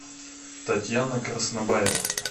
татьяна краснобаева